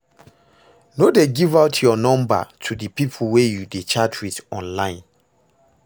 No dey give out your number to the people wey you dey chat with online